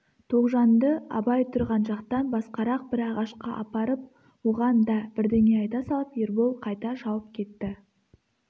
тоғжанды абай тұрған жақтан басқарақ бір ағашқа апарып оған да бірдеңе айта салып ербол қайта шауып кетті